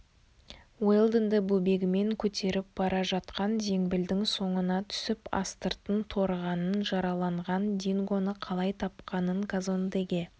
уэлдонды бөбегімен көтеріп бара жатқан зембілдің соңына түсіп астыртын торығанын жараланған дингоны қалай тапқанын казондеге